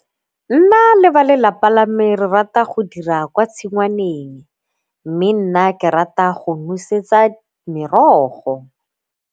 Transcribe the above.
Nna le ba lelapa lame re rata go dira kwa tshingwaneng mme nna ke rata go nosetsa merogo.